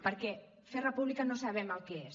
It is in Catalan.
perquè fer república no sabem el que és